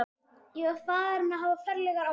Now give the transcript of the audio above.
Ég var farinn að hafa ferlegar áhyggjur.